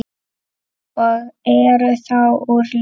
og eru þá úr leik.